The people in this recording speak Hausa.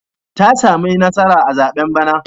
Ta sami nasara a zaɓen bana.